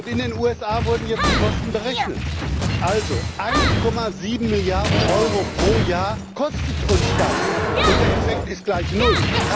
In den USA wurden jetzt die Kosten berechnet 1,7 Milliarden Euro pro Jahr kostet uns das, und der Effekt ist gleich null!